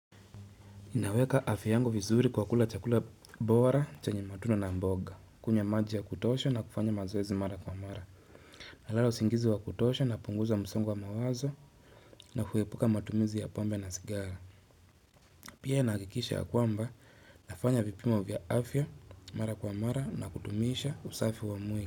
Naweka afya yangu vizuri kwa kula chakula bora, chenye matunda na mboga. Kunya maji ya kutosha na kufanya mazoezi mara kwa mara. Nalala usingizi wa kutosha na punguza msongo wa mawazo na kuwepuka matumizi ya pombe na sigara. Pia nahakiikisha ya kwamba nafanya vipimo vya afya mara kwa mara na kutumisha usafi wa mui.